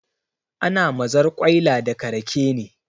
Ana mazarƙwaila daga rake ne